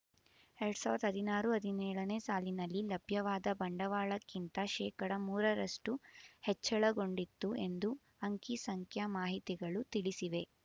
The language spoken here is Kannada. ಎರಡ್ ಸಾವಿರದ ಹದಿನಾರು ಹದಿನೇಳನೇ ಸಾಲಿನಲ್ಲಿ ಲಭ್ಯವಾದ ಬಂಡವಾಳಕ್ಕಿಂತ ಶೇಕಡಾ ಮೂರರಷ್ಟು ಹೆಚ್ಚಳಗೊಂಡಿತ್ತು ಎಂದು ಅಂಕಿಸಂಖ್ಯೆ ಮಾಹಿತಿಗಳು ತಿಳಿಸಿವೆ